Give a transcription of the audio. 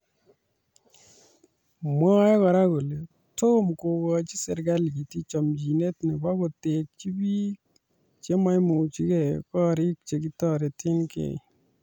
Mwae kora kole tomo kokochi serikalit chomchinet nebo kotekji biik chememuchigei koriik che kitoretegei